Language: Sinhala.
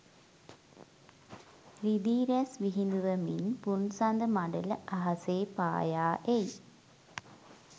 රිදී රැස් විහිඳුවමින් පුන්සඳ මඬල අහසේ පායා එයි.